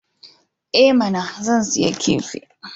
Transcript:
I mana! Zan sayi kifi.